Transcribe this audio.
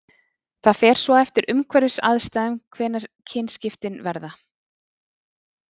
það fer svo eftir umhverfisaðstæðum hvenær kynskiptin verða